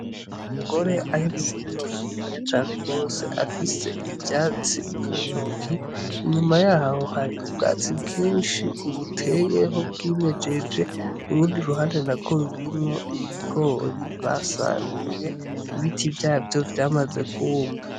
Umugore ari mu murima muniniya cane gose afise ivyatsi mu ntoki inyuma yaho hari ubwatsi bwishi ubuteyeho, ubwimejeje urundi ruhande narwo rurimwo ibigori basaruye ibiti vyavyo vyamaze kuma.